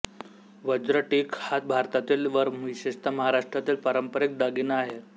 वज्रटीक हा भारतातील व विशेषतः महाराष्ट्रातील पारंपरिक दागिना आहे